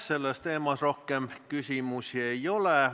Sellel teemal rohkem küsimusi ei ole.